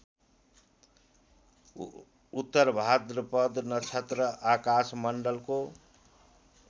उत्तरभाद्रपद नक्षत्र आकाशमण्डलको